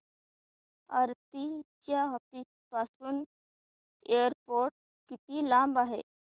आरती च्या ऑफिस पासून एअरपोर्ट किती लांब आहे